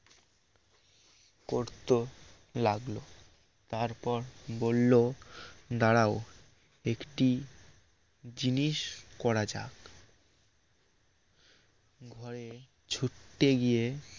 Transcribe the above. করত লাগল তারপর বলল দাঁড়াও একটি জিনিস করা যাক ভয়ে ছুট্টে গিয়ে